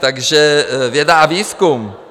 Takže věda a výzkum.